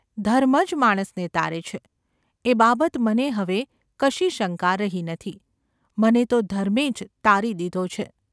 ધર્મ જ માણસને તારે છે એ બાબત મને હવે કશી શંકા રહી નથી મને તો ધર્મે જ તારી દીધો છે.